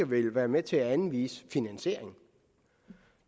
vil være med til at anvise finansieringen